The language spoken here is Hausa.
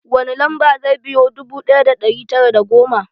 Wani lamba zai biyo dubu ɗaya da ɗari tara da goma?